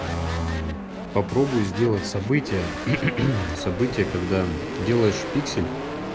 попробуй сделать события события когда делаешь пиксель